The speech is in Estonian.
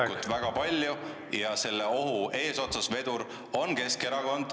… toimetulekut väga palju ja selle ohu eesotsas, vedur on Keskerakond.